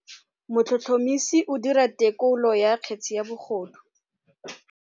Motlhotlhomisi o dira têkolô ya kgetse ya bogodu.